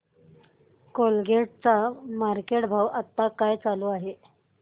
Colgate चा market भाव आता काय चालू आहे